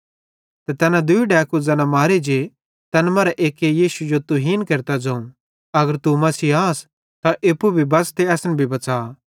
तैन दूई डैकू ज़ैना मारे जे तैन मरां एक्के यीशु जो तुहीन केरतां ज़ोवं अगर तू मसीह आस त एप्पू भी बंच़ ते असन भी बच़ा